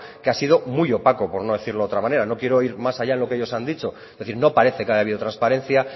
que ha sido muy opaco por no decirlo de otra manera no quiero ir más allá en lo que ellos han dicho es decir no parece que haya habido transparencia